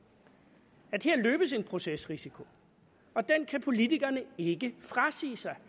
at der her løbes en procesrisiko og den kan politikerne ikke frasige sig